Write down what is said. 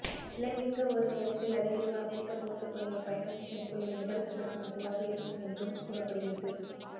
இலங்கைக்க ஒரே நேரத்தில் அதிகளவு அமெரிக்கப் போர்க்கப்பல்கள் பயணம் மேற்கொள்ளும் முதல் சந்தர்ப்பம் இதுவாக இருக்கும் என்றும் கூறப்படுகிறது